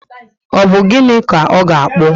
Ọ bu gịnị ka ọ na akpu?